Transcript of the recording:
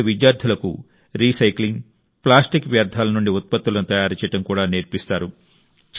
ఇక్కడ విద్యార్థులకు recycling plastic వ్యర్థాల నుండి ఉత్పత్తులను తయారు చేయడం కూడా నేర్పిస్తారు